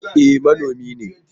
E, manomi ne.